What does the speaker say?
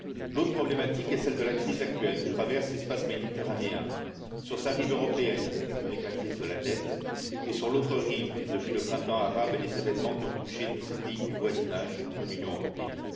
L'autre problématique est celle de la crise que traverse actuellement l'espace méditerranéen sur sa rive européenne, avec la crise de la dette, et sur l'autre rive, depuis le printemps arabe et les événements qui ont touché tous ces pays du voisinage de l'Union européenne.